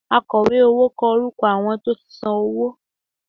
Àkọ̀wé owó kọ orúkọ àwọn tó ti san owó